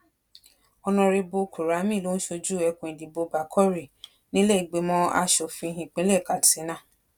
ónàrẹbù kùramì ló ń ṣojú ẹkùn ìdìbò bákórì nílé ìgbìmọ asòfin ìpínlẹ katsina